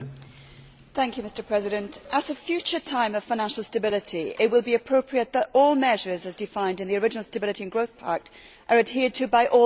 Mr President, at a future time of financial stability it will be appropriate that all measures as defined in the original Stability and Growth Pact are adhered to by all governments.